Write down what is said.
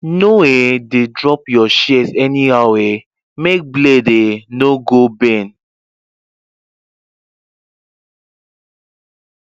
no um dey drop your shears anyhow um make blade um no go bend